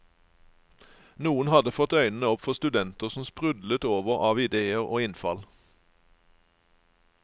Noen hadde fått øynene opp for studenter som sprudlet over av idéer og innfall.